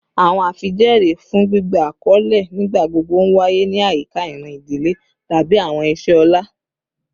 Awọn afijẹẹri fun gbigba akọle nigbagbogbo nwaye ni ayika iran idile tabi awọn iṣẹ ọlá